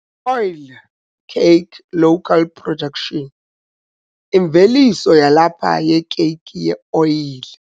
Oilcake local production- Imveliso yalapha yekeyiki yeoyile